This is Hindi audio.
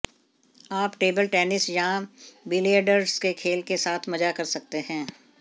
आप टेबल टेनिस या बिलियर्ड्स के खेल के साथ मजा कर सकते हैं